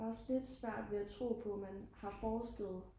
jeg har også lidt svært ved at tro på at man har forsket